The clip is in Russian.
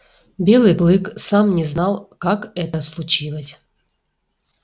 белый клык сам не знал как это случилось